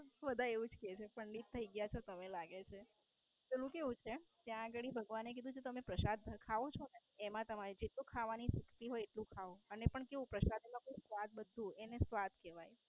બધા એવું જ કે છે પંડિત થઈ ગયા છો તમે લાગે છે. પેલું કેવું છે ત્યાં ગાળી ભગવાને કીધું છે કે તમે પ્રસાદ ખાવ છો ને એમાં તમારે જેટલું ખાવાનું શક્તિ હોય એટલું ખાવ અને પણ કેવું પ્રસાદ માં આવે બધું જ એને સ્વાદ કેવાય